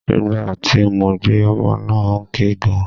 Ìgbà tí mo gbé ọmọ náà ó ń ké gan.